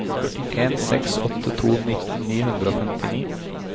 en seks åtte to nitten ni hundre og femtini